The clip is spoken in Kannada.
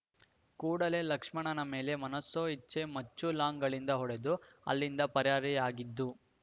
ಕೂಡಲೇ ಲಕ್ಷ್ಮಣ ಮೇಲೆ ಮನಸೋಇಚ್ಛೆ ಮಚ್ಚು ಲಾಂಗ್‌ಗಳಿಂದ ಹೊಡೆದು ಅಲ್ಲಿಂದ ಪರಾರಿಯಾಗಿದ್ದು